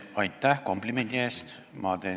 Aitäh komplimendi eest!